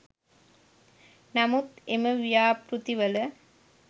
නමුත් එම ව්‍යාපෘතිවල